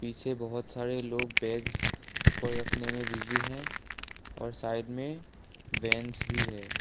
पीछे बहोत सारे लोग बैग्स ऊपर रखने में बिजी हैं और साइड में वेंस भी है।